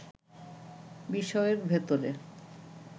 বিষয়ের ভেতরে